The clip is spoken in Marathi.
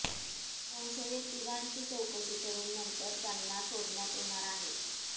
संशयित तिघांची चौकशी करून नंतर त्यांना सोडण्यात येणार आहे